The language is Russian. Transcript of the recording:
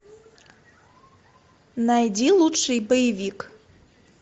найди лучший боевик